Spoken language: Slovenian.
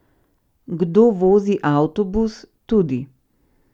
Kdo vozi avtobus, tudi.